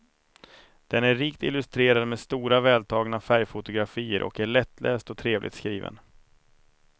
Den är rikt illustrerad med stora vältagna färgfotografier och är lättläst och trevligt skriven.